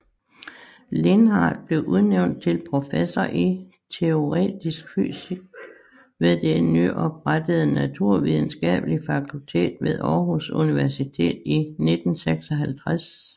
Lindhard blev udnævnt til professor i teoretisk fysik ved det nyoprettede naturvidenskabelige fakultet ved Århus Universitet i 1956